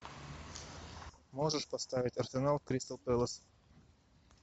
можешь поставить арсенал кристал пэлас